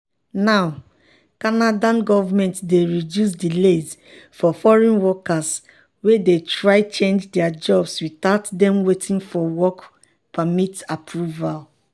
now canada govment dey reduce delays for foreign workers wey dey try change dia jobs without dem waiting for work permit approval.